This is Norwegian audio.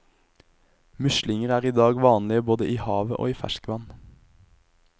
Muslinger er i dag vanlige både i havet og i ferskvann.